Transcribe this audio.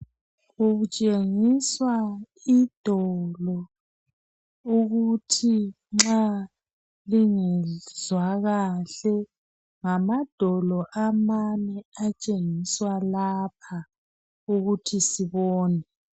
Kutshengiswa idolo, ukuthi nxa lingezwa kahle. Ngamadolo amane atshengiswa lapha ukuthi sibone.